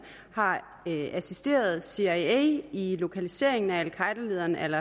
har assisteret cia i i lokaliseringen af al qaeda lederen al